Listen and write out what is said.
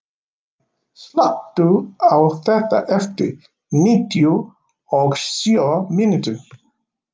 Dorri, slökktu á þessu eftir níutíu og sjö mínútur.